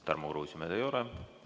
Tarmo Kruusimäed ei ole.